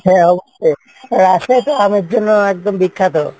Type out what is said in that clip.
হ্যাঁ হ্যাঁ অবশ্যই, আহ রাজশাহী তো আমের জন্য একদম বিখ্যাত।